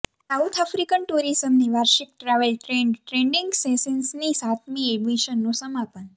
south African ટુરિઝમની વાર્ષિક travel trade training સેશન્સની સાતમી એડિશનનું સમાપન